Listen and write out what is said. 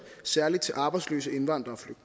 særligt til arbejdsløse indvandrere